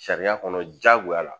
Sariya kɔnɔ diyagoya la